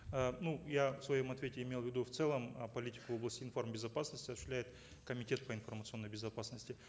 э ну я в своем ответе имел в виду в целом э политику гос информ безопасности осуществляет комитет по информационной безопасности